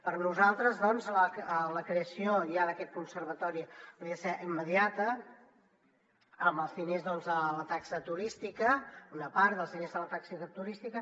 per nosaltres doncs la creació ja d’aquest conservatori hauria de ser immediata amb els diners de la taxa turística una part dels diners de la taxa turística